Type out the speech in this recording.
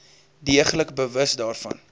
deeglik bewus daarvan